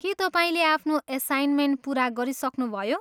के तपाईँले आफ्नो एसाइन्मेन्ट पुरा गरिसक्नुभयो?